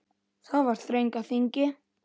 Það var þröng á þingi.